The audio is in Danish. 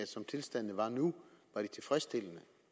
tilstandene var nu var tilfredsstillende